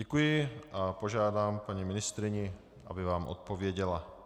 Děkuji a požádám paní ministryni, aby vám odpověděla.